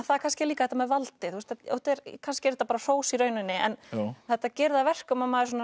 það er kannski líka þetta með valdið kannski er þetta bara hrós í rauninni en þetta gerir það að verkum að maður